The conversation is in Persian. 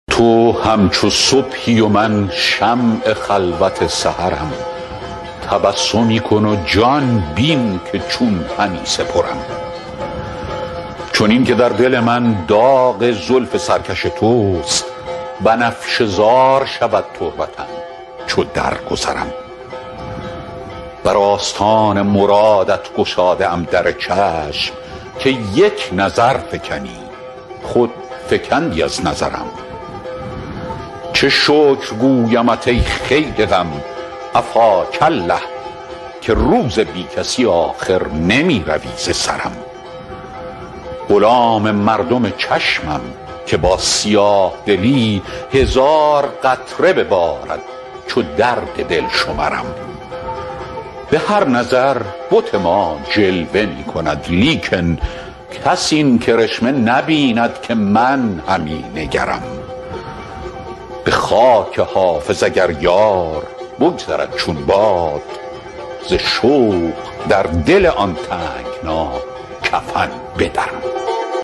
تو همچو صبحی و من شمع خلوت سحرم تبسمی کن و جان بین که چون همی سپرم چنین که در دل من داغ زلف سرکش توست بنفشه زار شود تربتم چو درگذرم بر آستان مرادت گشاده ام در چشم که یک نظر فکنی خود فکندی از نظرم چه شکر گویمت ای خیل غم عفاک الله که روز بی کسی آخر نمی روی ز سرم غلام مردم چشمم که با سیاه دلی هزار قطره ببارد چو درد دل شمرم به هر نظر بت ما جلوه می کند لیکن کس این کرشمه نبیند که من همی نگرم به خاک حافظ اگر یار بگذرد چون باد ز شوق در دل آن تنگنا کفن بدرم